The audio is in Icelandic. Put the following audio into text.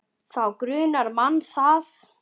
Þá grunar mann það.